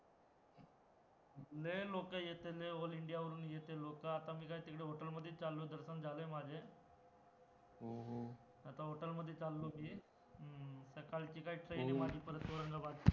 लय लोक येतात All India वरून येतात लोकं, आता मी काय तिकडे hotel मध्ये च चाललो दर्शन झालाय माझं, आता hotel मध्ये चाललो मी हम्म सकाळची काय train आहे परत माझी औरंगाबाद ची